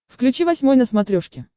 включи восьмой на смотрешке